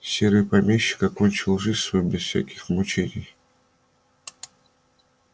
серый помещик окончил жизнь свою без всяких мучений